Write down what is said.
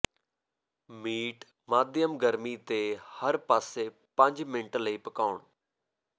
meat ਮਾਧਿਅਮ ਗਰਮੀ ਤੇ ਹਰ ਪਾਸੇ ਪੰਜ ਮਿੰਟ ਲਈ ਪਕਾਉਣ